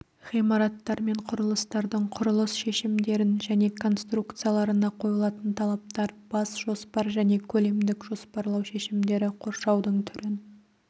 ғимараттар мен құрылыстардың құрылыс шешімдерін және конструкцияларына қойылатын талаптар бас жоспар және көлемдік жоспарлау шешімдері қоршаудың түрін